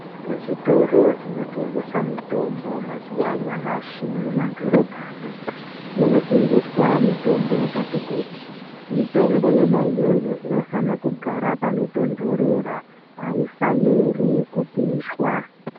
Mu zvitoro zvino tengesa mitombo mazuva anyamashi mu madhorobha mwo muno tengeswa mitombo yakati kuti mitombo yona iyoyo ino fana kugara pano tondorera ayi faniri ku pishwa.